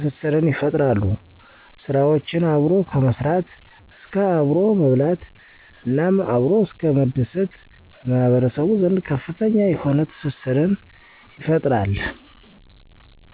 ትስስርን ይፈጥራሉ፤ ስራዎችን አብሮ ከመስራት እስከ አብሮ መብላት እናም አብሮ እስከ መደሰት በማህበረሰቡ ዘንድ ከፍተኛ የሆነ ትስስርን ይፈጥራል።